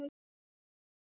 Úlfur hlær.